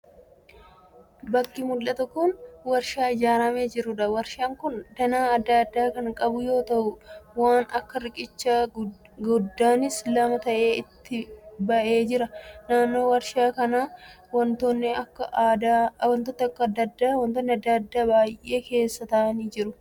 Bakki mul'atu kun warshaa ijaaramee jiruudha. Warshaan kun danaa adda addaa kan qabu yoo ta'u waan akka riqicha guddaanis lama ta'ee itti ba'ee jira. Naannoo warshaa kanaa wantoonni adda addaa lafa biyyee keessa ta'aa jiru.